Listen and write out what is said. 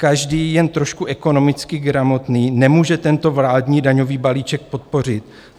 Každý jen trošku ekonomicky gramotný nemůže tento vládní daňový balíček podpořit.